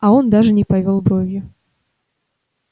а он даже не повёл бровью